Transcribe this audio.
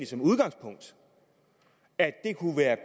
som udgangspunkt at det kunne være